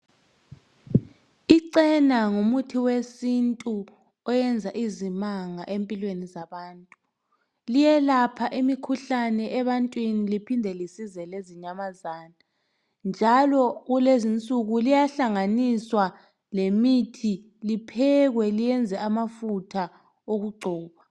Icena ngumuthi wesintu oyenza izimanga empilweni zabantu. Liyelapha imikhuhlane ebantwini liphinde lisize lezinyamazana, njalo kulezinsuku liyahlanganiswa lemithi liphekwe liyenze amafutha okugcoba.